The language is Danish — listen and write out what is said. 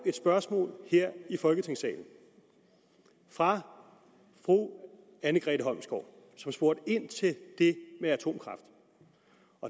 et spørgsmål her folketingssalen fra fru anne grete holmsgaard som spurgte ind til det med atomkraft